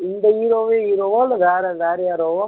இந்த hero வே hero வா இல்ல வேற வேற யாரோவா